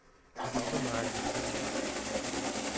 Stokkemarke